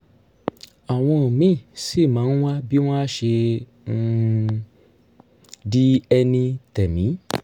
àwọn míì sì máa ń wá bí wọ́n á ṣe um di ẹni tẹ̀mí